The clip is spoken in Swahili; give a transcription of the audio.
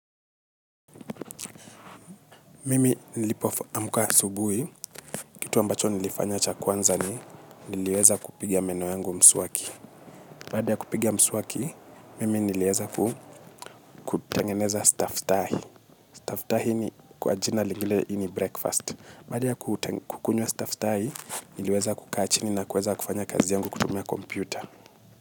Mimi nilipoamka asubuhi, kitu ambacho nilifanya cha kwanza ni, niliweza kupiga mswaki meno yangu. Baada ya kupiga mswaki, mimi niliweza kutengeneza staftahi. Staftahi ni kwa jina lingine ni breakfast. Baada ya kukunywa staftahi, niliweza kukaa chini na kuweza kufanya kazi yangu kutumia kompyuta.